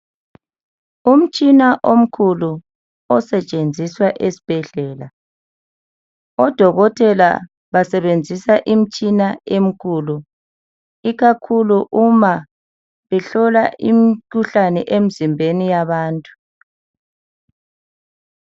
Umtshina omkhulu osetshenziswa esbhedlela. Odokotela basebenzisa imtshina emikhulu ikakhulu uma behlola imikhuhlane emzimbeni yabantu.